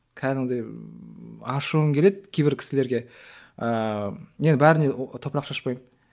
кәдімгідей ашуым келеді кейбір кісілерге ііі енді бәріне топырақ шашпаймын